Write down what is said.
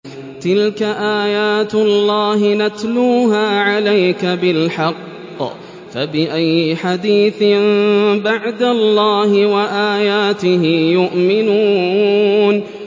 تِلْكَ آيَاتُ اللَّهِ نَتْلُوهَا عَلَيْكَ بِالْحَقِّ ۖ فَبِأَيِّ حَدِيثٍ بَعْدَ اللَّهِ وَآيَاتِهِ يُؤْمِنُونَ